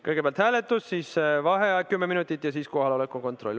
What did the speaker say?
Kõigepealt hääletus, seejärel vaheaeg kümme minutit ja siis kohaloleku kontroll.